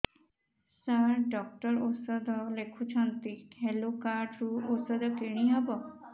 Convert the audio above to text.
ସାର doctor ଔଷଧ ଲେଖିଛନ୍ତି health card ରୁ ଔଷଧ କିଣି ହେବ